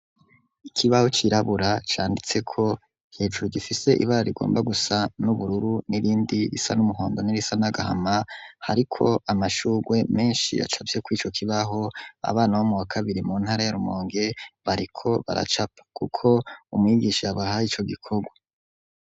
Ikibaho cirabura canditse ko hejuru gifise ibara rigomba gusa n'ubururu nirindi risa n'umuhondo nirisa n'agahama hariko amashugwe menshi yacapye kw'ico kibaho abana bo mu wa kabiri mu ntara ya rumonge bariko baracapa kuko umwigisha abahaye ico gikogwa.